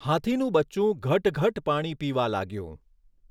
હાથીનું બચ્ચું ઘટઘટ પાણી પીવા લાગ્યું.